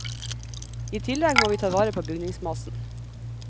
I tillegg må vi ta vare på bygningsmassen.